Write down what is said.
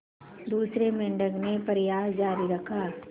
दूसरे मेंढक ने प्रयास जारी रखा